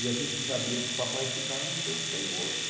E a gente sabia que o papai desse cara não tem onde cair morto.